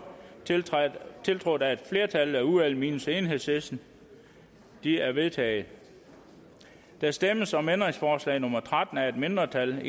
tiltrådt af et flertal i udvalget minus enhedslisten de er vedtaget der stemmes om ændringsforslag nummer tretten af et mindretal